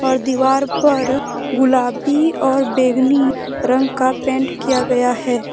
दीवार पर गुलाबी और बैंगनी रंग का पेंट किया गया है।